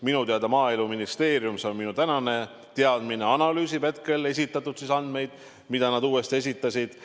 Minu teada Maaeluministeerium – see on minu tänane teadmine – analüüsib hetkel neid andmeid, mis nad uuesti esitasid.